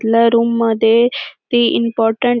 इथल्या रूम मध्ये ते इम्पॉरटं --